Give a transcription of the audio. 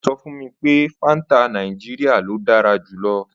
Ó sọ fún mi pé Fanta Nàìjíríà ni dára jù lọ.